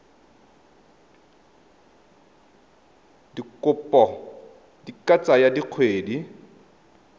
dikopo di ka tsaya dikgwedi